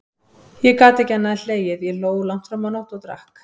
Ég gat ekki annað en hlegið, ég hló langt fram á nótt, og drakk.